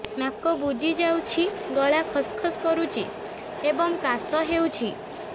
ନାକ ବୁଜି ଯାଉଛି ଗଳା ଖସ ଖସ କରୁଛି ଏବଂ କାଶ ହେଉଛି